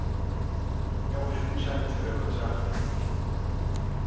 le go šomiša ditirelo tša